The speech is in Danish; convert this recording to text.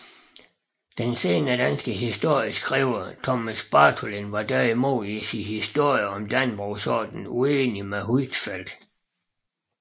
Den senere danske historieskriver Thomas Bartholin var derimod i sin historie om Dannebrogsordenen uenig med Huitfeldt